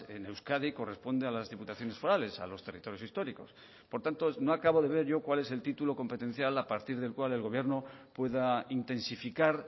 en euskadi corresponde a las diputaciones forales a los territorios históricos por tanto no acabo de ver yo cuál es el título competencial a partir del cual el gobierno pueda intensificar